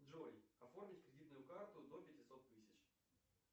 джой оформить кредитную карту до пятисот тысяч